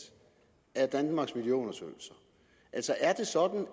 af danmarks miljøundersøgelser altså er det sådan